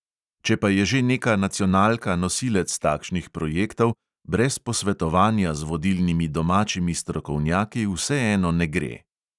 Če pa je že neka nacionalka nosilec takšnih projektov, brez posvetovanja z vodilnimi domačimi strokovnjaki vseeno ne gre.